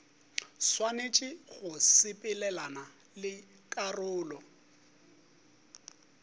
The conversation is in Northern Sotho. swanetše go sepelelana le karolo